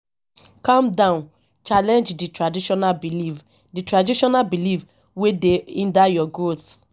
calm down challenge di traditional belief di traditional belief wey dey hinder your growth